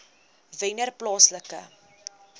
wennerplaaslike